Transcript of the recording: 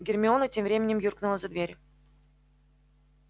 гермиона тем временем юркнула за дверь